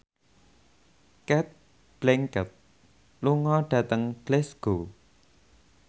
Cate Blanchett lunga dhateng Glasgow